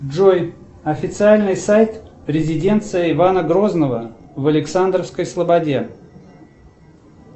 джой официальный сайт резиденции ивана грозного в александровской слободе